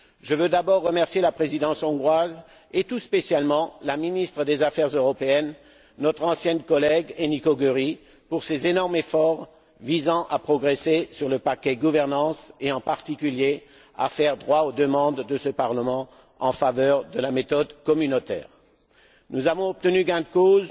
Je veux d'abord remercier la présidence hongroise, et tout spécialement la ministre des affaires européennes, notre ancienne collègue, Enikö Göry, pour ses énormes efforts visant à progresser sur le paquet gouvernance et, en particulier, à faire droit aux demandes de ce Parlement en faveur de la méthode communautaire. Nous avons obtenu gain de cause